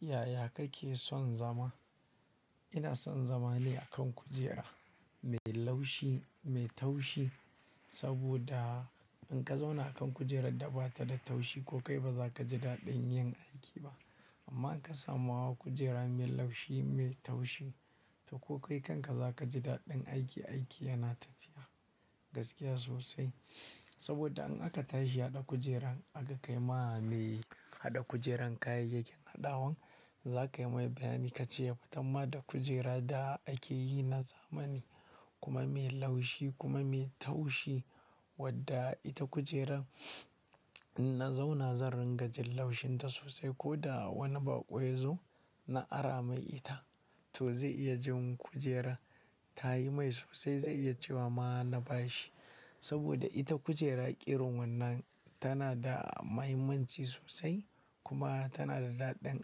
Yaya kake son zama? Ina son zama ne a kan kujera mai laushi, mai taushi. Saboda in ka zauna a kan kujerar da ba ta da taushi, ko kai ba za ka ji daɗin yin aiki ba. Amma in ka samu hawa kujera mai laushi, mai taushi, to ko kai kanka za ka ji daɗin aiki. Aiki yana tafiya gaskiya sosai. Saboda in aka tashi ya ɗa kujeran, aka kai ma me haɗa kujeran kayayyakin hadawan, za ka yimai bayani ka ce ya fatan ma da kujera da ake yi na zamani kuma mai laushi kuma mai taushi wadda ita kujeran in na zauna zan ringa jin laushinta sosai. Ko da wani baƙo ya zo na ara mai ita to zai iya jin kujerar ta yi mai sosai, zai iya cewa ma na bashi. Saboda ita kujera irin wannan tana da mahimmanci sosai kuma tana da daɗin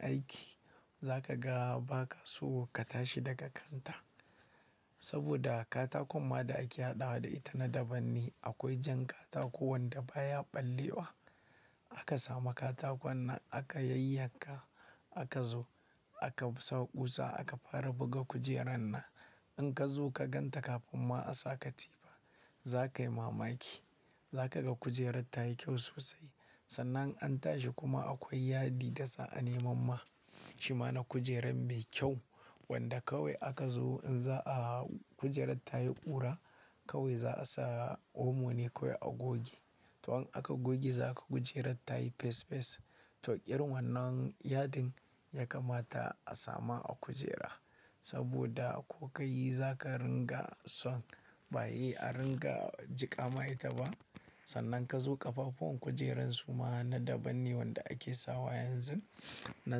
aiki. Za ka ga ba ka so ka tashi daga kanta. Saboda katakon ma da ake haɗawa da ita na daban ne. Akwai jan katako wanda baya ɓallewa. Aka samu katakon nan aka yanyanka, aka zo aka sa kusa aka fara buga kujeran nan. In ka zo ka gan ta kafin ma a sa katifa, za ka yi mamaki. Za ka ga kujerar ta yi kyau sosai. Sannan in an tashi kuma akwai yadi da za a neman ma. Shi ma na kujeran mai kyau wanda kawai aka zo in za a hau kujerar ta yi ƙura, kawai za a sa omo ne kawai a goge. To in aka goge za ka ga kujerar ta yi fes fes. To irin wannan yadin ya kamata a sama a kujera saboda ko ka yi za ka ringa son ba yi a ringa jiƙa ma ita ba. Sannan ka zo ƙafafuwan kujeran su ma na daban ne wanda ake sawa yanzu na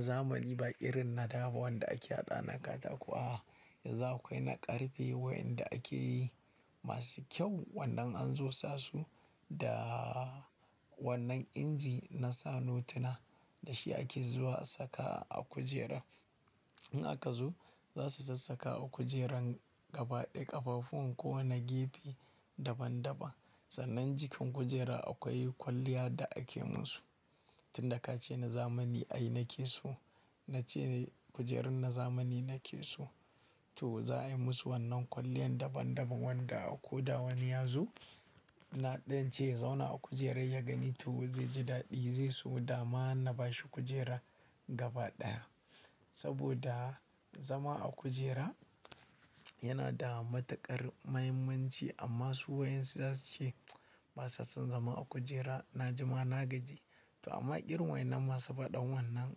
zamani ba irin na da ba wanda ake haɗawa na katako. A'a, yanzu akwai na ƙarfe wayanda ake yi masu kyau wannan an zo sa su da wannan inji na sa notuna da shi ake zuwa asaka a kujera. In aka zo za su sassaka a kujeran gaba ɗaya ƙafafuwan ko wane gefe daban daban. Sannan jikin kujera akwai kwalliya da ake musu. Tin da ka ce na zamani ai na ke so, na ce kujerun na zamani na ke so, to za a yi musu wannan kwalliyan daban daban wanda ko da wani ya zo na ɗan ce ya zauna a kujerar ya gani to zai ji daɗi, zai so da ma na bashi kujera gaba ɗaya. Saboda zama a kujera yana da matuƙar muhimmanci. Amma su wa insu za su ce ba sa son zama a kujera, na ji ma na gaji. To amma irin wa innan masu faɗan wannan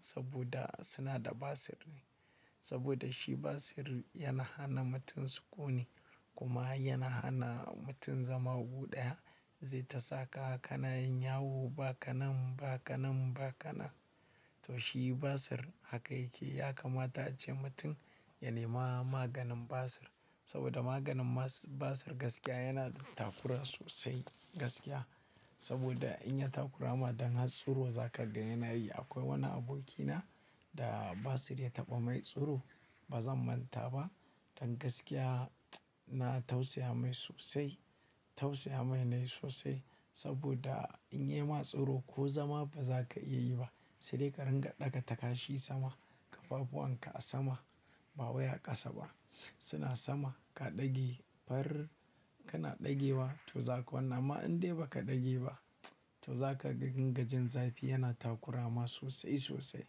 saboda suna da basir ne. Saboda shi basir yana hana mutum sukuni kuma yana hana mutum zama gu ɗaya. Zai ta saka ka na yin yawo ba ka nan, ba ka nan, ba ka nan. To shi basir haka yake. Ya kamata ace mutum ya nema maganin basir saboda maganin basir gaskiya yana da takura sosai gaskiya. Saboda in ya takurama, dan har tsuro za ka ga yana yi. Akwai wani abokina da basir ya taɓa mai tsuro. Ba zan manta ba. Dan gaskiya, na tausaya mai sosai. Tausaya mai na yi sosai saboda in yayi ma tsuro ko zama ba za ka iya yi ba. Sai dai ƙadin ga ɗaga takashi sama, ƙafafuwan ka a sama, ba wai a ƙasa ba. Suna sama, ka ɗage. Farar kana ɗage wa to za ka wannan. Amma in dai ba ka ɗage ba to za ka ringajin zafi yana takurama sosai sosai.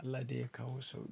Allah dai ya kawo sauƙi.